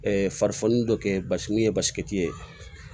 farifoni dɔ kɛ basi ye basi ye